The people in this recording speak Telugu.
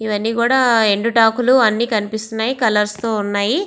ఇవన్నీ ఎండుటాకులు అన్నీ కనిపిస్తున్నాయ్ కలర్స్ తో ఉన్నాయ్.